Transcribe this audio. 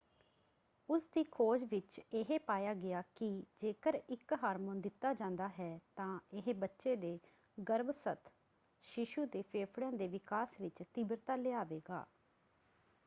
ਉਸਦੀ ਖੋਜ ਵਿੱਚ ਇਹ ਪਾਇਆ ਗਿਆ ਕਿ ਜੇਕਰ ਇੱਕ ਹਾਰਮੋਨ ਦਿੱਤਾ ਜਾਂਦਾ ਹੈ ਤਾਂ ਇਹ ਬੱਚੇ ਦੇ ਗਰੱਭਸਥ ਸ਼ੀਸ਼ੂ ਦੇ ਫੇਫੜਿਆਂ ਦੇ ਵਿਕਾਸ ਵਿੱਚ ਤੀਬਰਤਾ ਲਿਆਵੇਗਾ।